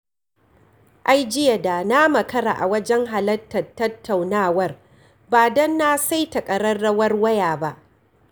Ai jiya da na makara a wajen halartar tattaunawar, ba don na saita ƙararrawar waya ba.